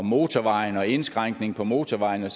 motorvejene indskrænkning på motorvejene